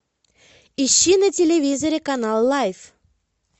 ищи на телевизоре канал лайф